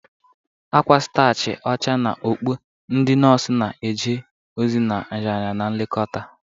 Akwa starchi ọcha na okpu, ndị nọọsụ na-eje ozi na nraranye na nlekọta.